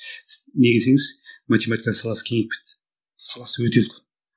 неге десеңіз математика саласы кеңейіп кетті саласы өте үлкен